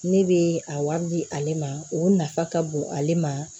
Ne bɛ a wari di ale ma o nafa ka bon ale ma